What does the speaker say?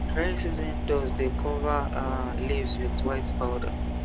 dry season dust dey cover leaves with white powder